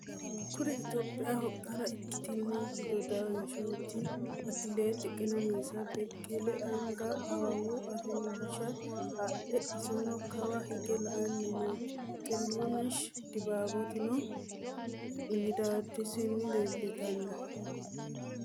Kuri itopiyaho qara ikkitino doddasinetti atileti qenenisa beqelehu anigga awawu affanisha adhe isino Kawa higge la'anni noo. xiruneshi dibabitinno middadosini leelitanno